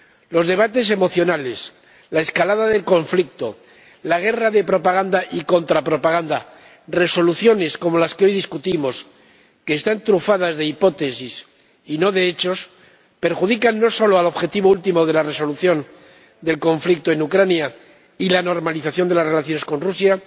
Los debates emocionales, la escalada del conflicto, la guerra de propaganda y contrapropaganda, resoluciones como las que hoy discutimos, que están trufadas de hipótesis y no de hechos, perjudican no solo al objetivo último de la resolución del conflicto en Ucrania y la normalización de las relaciones con Rusia,